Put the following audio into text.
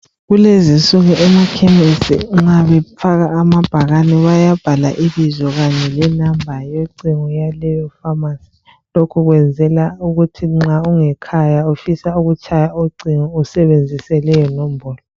Kulezi insuku emakhemisi nxa befaka amabhakani bayabhala ibizo kanye lenamba yocingo yaleyo "pharmacy".Lokho kwenzelwa ukuthi nxa ungekhaya ufisa ukutshaya ucingo usebenzise leyo nombolo.